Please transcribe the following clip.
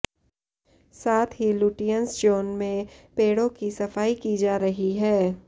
साथ ही Lutyens zone में पेड़ों की सफाई की जा रही है